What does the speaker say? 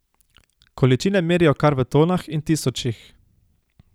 Količine merijo kar v tonah in tisočih.